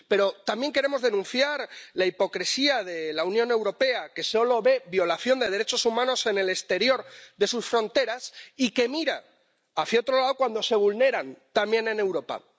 Pero también queremos denunciar la hipocresía de la Unión Europea, que solo ve violación de derechos humanos en el exterior de sus fronteras y que mira hacia otro lado cuando se vulneran también en Europa.